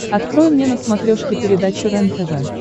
открой мне на смотрешке передачу рентв